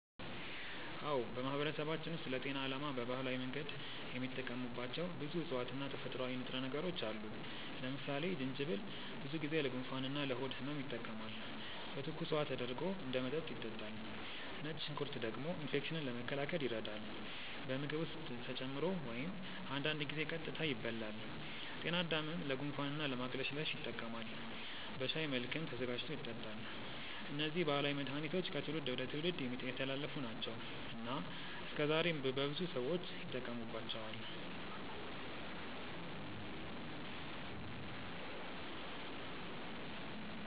አዎ፣ በማህበረሰባችን ውስጥ ለጤና ዓላማ በባህላዊ መንገድ የሚጠቀሙባቸው ብዙ እፅዋት እና ተፈጥሯዊ ንጥረ ነገሮች አሉ። ለምሳሌ ጅንጅብል ብዙ ጊዜ ለጉንፋን ወይም ለሆድ ህመም ይጠቀማል፤ በትኩስ ውሃ ተደርጎ እንደ መጠጥ ይጠጣል። ነጭ ሽንኩርት ደግሞ ኢንፌክሽንን ለመከላከል ይረዳል፣ በምግብ ውስጥ ተጨምሮ ወይም አንዳንድ ጊዜ ቀጥታ ይበላል። ጤናድምም ለጉንፋን እና ለማቅለሽለሽ ይጠቀማል፤ በሻይ መልክም ተዘጋጅቶ ይጠጣል። እነዚህ ባህላዊ መድሃኒቶች ከትውልድ ወደ ትውልድ የተላለፉ ናቸው እና እስከዛሬም በብዙ ሰዎች ይጠቀሙባቸዋል።